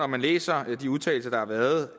man læser de udtalelser der har været